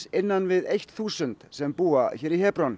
innan við eitt þúsund sem búa hér í